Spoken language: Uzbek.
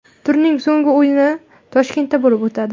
Turning so‘nggi o‘yini Toshkentda bo‘lib o‘tadi.